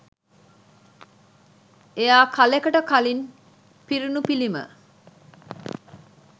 එයා කාලෙකට කලින් පිරුණු පිළිම